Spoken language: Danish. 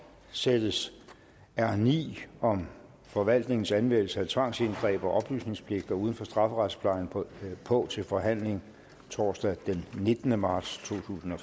sættes r ni om forvaltningens anmeldelse af tvangsindgreb og oplysningspligter uden for strafferetsplejen på på til forhandling torsdag den nittende marts totusinde